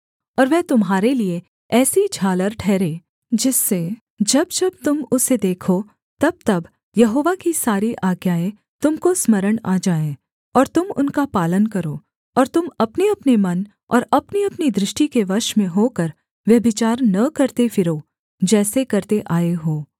और वह तुम्हारे लिये ऐसी झालर ठहरे जिससे जब जब तुम उसे देखो तबतब यहोवा की सारी आज्ञाएँ तुम को स्मरण आ जाएँ और तुम उनका पालन करो और तुम अपनेअपने मन और अपनीअपनी दृष्टि के वश में होकर व्यभिचार न करते फिरो जैसे करते आए हो